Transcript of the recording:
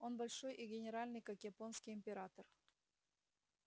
он большой и генеральный как японский император